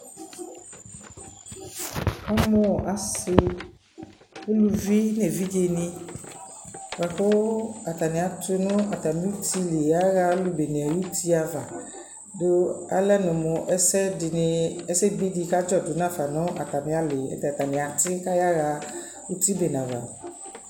Wʋkamʋ asi, ulʋvi n'evidze ni boa kʋ atani atʋ nʋ atami uti li ayaɣa alʋ bene ayuti ava dʋ alɛ nɔ mʋ ɛsɛdi, ɛsɛ bi di kadzɔ dʋ n'afa nʋ atami ali yɛ, ayɛlʋtɛ atani ati kayaɣa uti bene ava